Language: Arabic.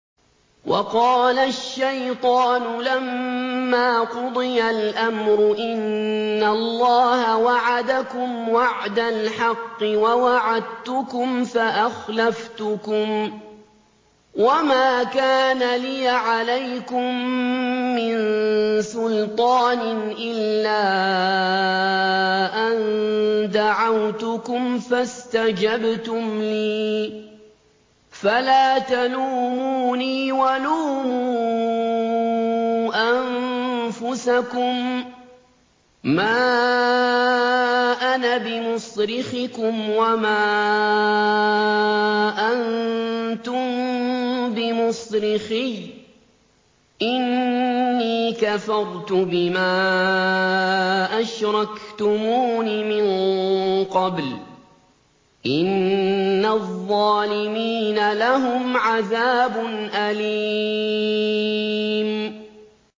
وَقَالَ الشَّيْطَانُ لَمَّا قُضِيَ الْأَمْرُ إِنَّ اللَّهَ وَعَدَكُمْ وَعْدَ الْحَقِّ وَوَعَدتُّكُمْ فَأَخْلَفْتُكُمْ ۖ وَمَا كَانَ لِيَ عَلَيْكُم مِّن سُلْطَانٍ إِلَّا أَن دَعَوْتُكُمْ فَاسْتَجَبْتُمْ لِي ۖ فَلَا تَلُومُونِي وَلُومُوا أَنفُسَكُم ۖ مَّا أَنَا بِمُصْرِخِكُمْ وَمَا أَنتُم بِمُصْرِخِيَّ ۖ إِنِّي كَفَرْتُ بِمَا أَشْرَكْتُمُونِ مِن قَبْلُ ۗ إِنَّ الظَّالِمِينَ لَهُمْ عَذَابٌ أَلِيمٌ